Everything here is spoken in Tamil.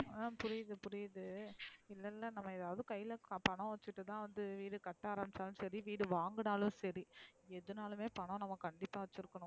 அஹ புரியுது புரயுது இல்ல இல்ல நம்ம எதாவது கைல பணம் வச்சிருந்து வீடு கற்றதும் சரி வீடு வாங்கினாலும் சரி எதுனலுமே பணம் வேணும்